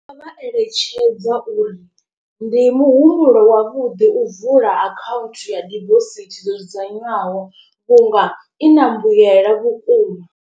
Ndi nga vha eletshedza uri ndi muhumbulo wavhuḓi u vula account ya dibosithi dzo dzudzanywaho vhunga i na mbuyela vhukuma.